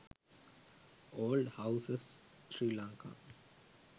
old houses sri lanka